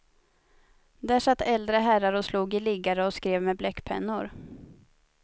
Där satt äldre herrar och slog i liggare och skrev med bläckpennor.